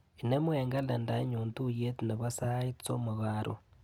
Inemu eng kalendainyu tuiyet nebo sait somok karon.